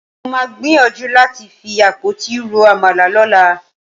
Mo máa gbìyànjú láti fi àpótí ro àmàlà lọ́la.